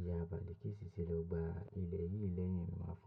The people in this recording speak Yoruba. Iya Balikisi tì lọ gbá ilẹ̀ yìí lẹ́yìn mi, ma.